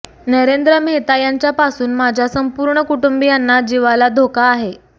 नरेंद्र मेहता यांच्यापासून माझ्या संपूर्ण कुटुंबियांना जीवाला धोका आहे